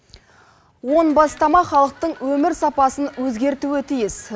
он бастама халықтың өмір сапасын өзгертуі тиіс